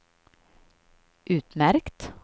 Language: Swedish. utmärkt